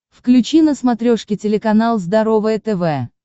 включи на смотрешке телеканал здоровое тв